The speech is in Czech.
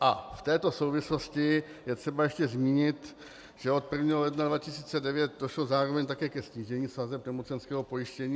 A v této souvislosti je třeba ještě zmínit, že od 1. ledna 2009 došlo zároveň také ke snížení sazeb nemocenského pojištění.